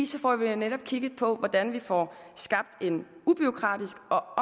så får vi jo netop kigget på hvordan vi får skabt en ubureaukratisk og